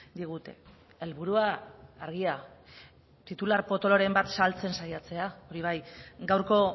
digute helburua argia titular potoloren bat saltzen saiatzea hori bai gaurko